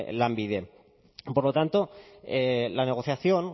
lanbide por lo tanto la negociación